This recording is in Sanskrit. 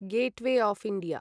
gateway of India